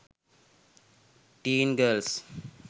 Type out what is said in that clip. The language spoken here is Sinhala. teen girls